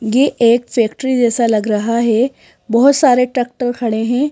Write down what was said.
ये एक फैक्ट्री जैसा लग रहा है बहुत सारे ट्रैक्टर खड़े हैं।